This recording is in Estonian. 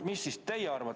Mida teie arvate?